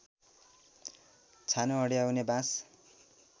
छानो अड्याउने बाँस